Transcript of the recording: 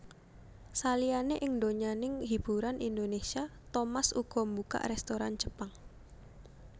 Saliyané ing donyaning hiburan Indonésia Thomas uga mbukak rèstoran Jepang